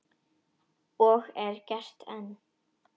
Og er gert enn.